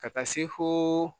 Ka taa se foo